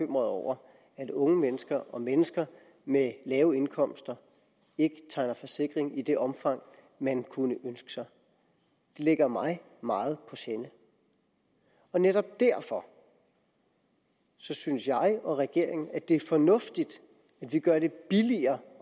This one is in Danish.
over at unge mennesker og mennesker med lave indkomster ikke tegner forsikring i det omfang man kunne ønske sig det ligger mig meget på sinde og netop derfor synes jeg og regeringen at det er fornuftigt at vi gør det billigere